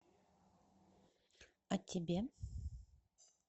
а тебе